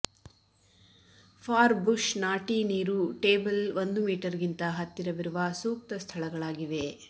for bush ನಾಟಿ ನೀರು table ಒಂದು ಮೀಟರ್ ಗಿಂತ ಹತ್ತಿರವಿರುವ ಸೂಕ್ತ ಸ್ಥಳಗಳಾಗಿವೆ